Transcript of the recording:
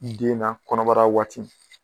I den na kɔnɔbara waati.